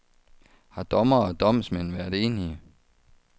Har dommere og domsmænd været enige?